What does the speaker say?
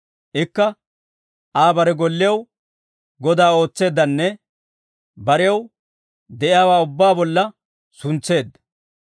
Ikka, Aa bare golliyaw godaa ootseeddanne. Barew de'iyaawaa ubbaa bolla suntseedda.